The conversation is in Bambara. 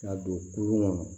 K'a don kurun kɔnɔ